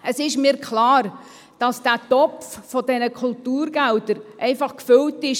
Es ist mir klar, dass der Topf dieser Kulturgelder mit einer bestimmten Menge gefüllt ist.